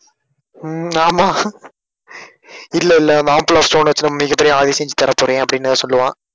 உம் ஆமா இல்ல இல்ல omphalos stone வச்சு நம்ம மிகப் பெரிய ஆவி செஞ்சு தரப்போறேன் அப்படின்னு சொல்லுவான்.